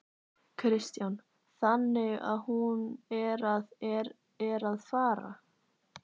Kristján: Þannig að hún er að, er, er að fara?